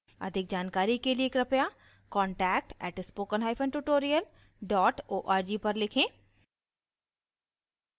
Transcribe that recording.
अधिक जानकारी के लिए कृपया contact @spokentutorial org पर लिखें